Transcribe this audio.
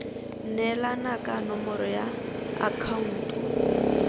neelana ka nomoro ya akhaonto